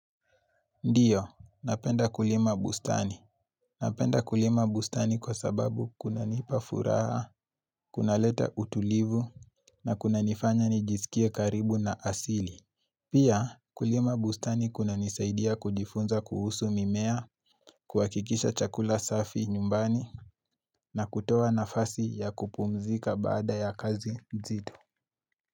Ndiyo, napenda kulima bustani. Napenda kulima bustani kwa sababu kunanipa furaha, kunaleta utulivu, na kunanifanya nijisikie karibu na asili. Pia, kulima bustani kunanisaidia kujifunza kuhusu mimmea, kuhakikisha chakula safi nyumbani, na kutoa nafasi ya kupumzika baada ya kazi mzito.